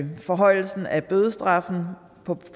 og forhøjelsen af bødestraffen